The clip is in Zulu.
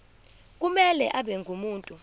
kumele abe ngumuntu